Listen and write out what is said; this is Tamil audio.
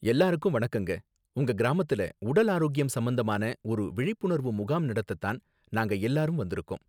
எல்லாருக்கும் வணக்கங்க, உங்க கிராமத்துல உடல் ஆரோக்கியம் சம்பந்தமான ஒரு விழிப்புணர்வு முகாம் நடத்த தான் நாங்க எல்லாரும் வந்திருக்கோம்